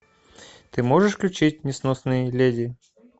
ты можешь включить несносные леди